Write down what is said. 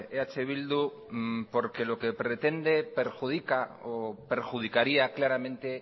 eh bildu porque lo que pretende perjudica o perjudicaría claramente